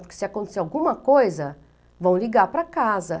Porque se acontecer alguma coisa, vão ligar para casa.